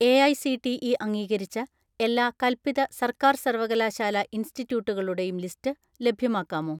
"AICTE അംഗീകരിച്ച എല്ലാ കൽപ്പിത സർക്കാർ സർവകലാശാല ഇൻസ്റ്റിറ്റ്യൂട്ടുകളുടെയും ലിസ്റ്റ് ലഭ്യമാക്കാമോ?"